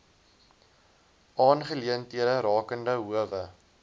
aangeleenthede rakende howe